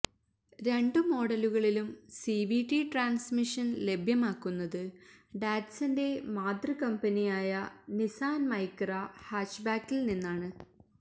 രണ്ട് മോഡലുകളിലും CVT transmission ലഭ്യമാക്കുന്നത് ഡാറ്റ്സന്റെ മാതൃ കമ്പനിയായ നിസ്സാൻ മൈക്രാ ഹാച്ച്ബാക്കിൽ നിന്നാണ്